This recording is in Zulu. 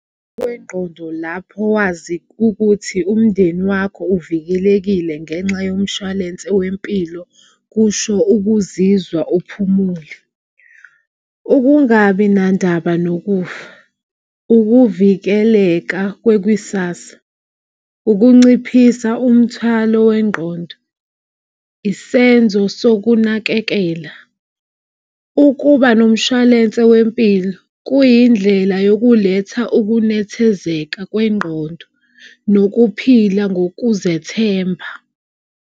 Ngokwengqondo lapho wazi ukuthi umndeni wakho uvikelekile ngenxa yomshwalense wempilo kusho ukuzizwa uphumule, ukungabi nandaba nokufa, ukuvikeleka kwekwisasa, ukunciphisa umthwalo wengqondo, isenzo sokunakekela. Ukuba nomshwalense wempilo kuyindlela yokuletha ukunethezeka kwengqondo nokuphila ngokuzethemba.